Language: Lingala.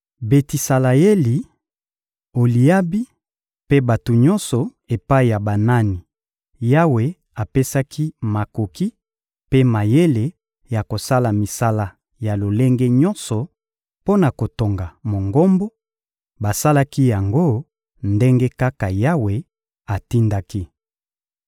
Betisaleyeli, Oliabi mpe bato nyonso epai ya banani Yawe apesaki makoki mpe mayele ya kosala misala ya lolenge nyonso mpo na kotonga Mongombo, basalaki yango ndenge kaka Yawe atindaki.